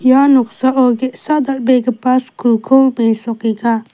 ia noksao ge·sa dal·begipa skulko besokenga .